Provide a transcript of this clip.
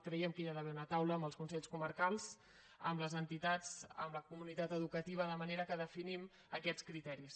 creiem que hi ha d’haver una taula amb els consells comarcals amb les entitats amb la comunitat educativa de manera que definim aquests criteris